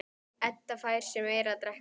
Edda fær sér meira að drekka.